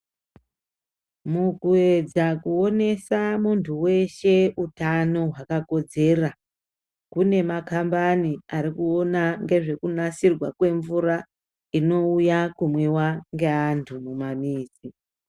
Mukuedza kuonesa muntu weshe utano hwakakodzera, kune makambani ari kuona ngezvekunasirwa kwemvura inouya kumwiwa ngeantu mumamizi.